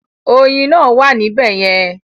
Ọyin náà wà ní bẹ̀yẹ̀ẹn?